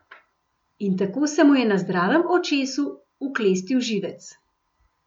In tako se mu je na zdravem očesu, uklestil živec.